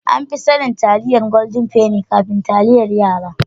Anfi sanin Taliyan Golden penny kafin taliyan yara.